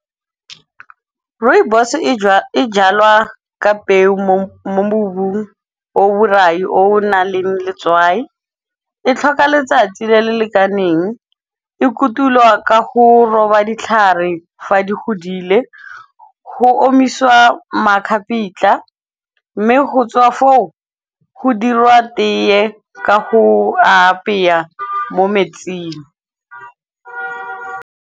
Rooibos e jalwa ka peo mo mobung o borai o nang le letswai. E tlhoka letsatsi le le lekaneng, e kotulwa ka go roba ditlhare fa di hodile, ho omisiwa makgapitla mme ho tswa foo, ho dirwa teye ka ho a apeya mo metsing.